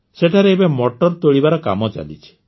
ସେଠାରେ ଏବେ ମଟର ତୋଳିବାର କାମ ଚାଲିଛି